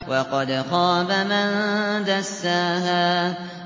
وَقَدْ خَابَ مَن دَسَّاهَا